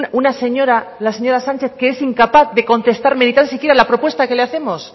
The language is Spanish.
una señora la señora sánchez que es incapaz de contestarme ni tan siquiera la propuesta que le hacemos